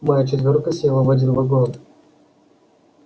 моя четвёрка села в один вагон